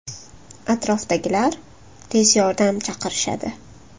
Atrofdagilar tez yordam chaqirishadi.